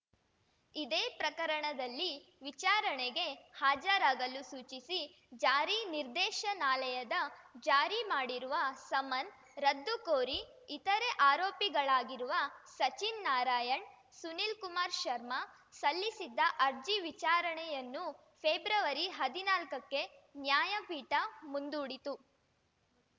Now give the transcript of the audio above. ಇದೇ ಪ್ರಕರಣದಲ್ಲಿ ವಿಚಾರಣೆಗೆ ಹಾಜರಾಗಲು ಸೂಚಿಸಿ ಜಾರಿ ನಿರ್ದೇಶನಾಲಯದ ಜಾರಿ ಮಾಡಿರುವ ಸಮನ್ ರದ್ದು ಕೋರಿ ಇತರೆ ಆರೋಪಿಗಳಾಗಿರುವ ಸಚಿನ್‌ ನಾರಾಯಣ್‌ ಸುನೀಲ್‌ ಕುಮಾರ್‌ ಶರ್ಮಾ ಸಲ್ಲಿಸಿದ್ದ ಅರ್ಜಿ ವಿಚಾರಣೆಯನ್ನು ಫೆಬ್ರವರಿಹದಿನಾಲ್ಕಕ್ಕೆ ನ್ಯಾಯಪೀಠ ಮುಂದೂಡಿತು